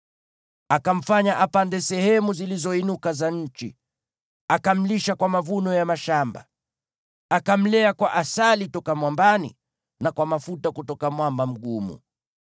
Akamfanya apande sehemu zilizoinuka za nchi, akamlisha kwa mavuno ya mashamba. Akamlea kwa asali toka mwambani, na kwa mafuta kutoka mwamba mgumu,